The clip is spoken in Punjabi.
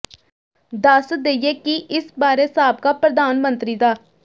ਦੱਸ ਦੇਈਏ ਕਿ ਇਸ ਬਾਰੇ ਸਾਬਕਾ ਪ੍ਰਧਾਨ ਮੰਤਰੀ ਡਾ